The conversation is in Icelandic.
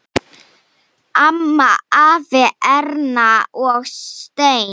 Amma, afi, Erna og Steini.